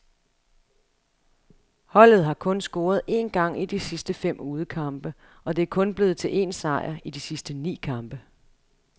Holdet har kun scoret en gang i de seneste fem udekampe, og det er kun blevet til en sejr i de sidste ni kampe.